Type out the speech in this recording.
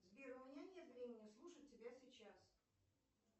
сбер у меня нет времени слушать тебя сейчас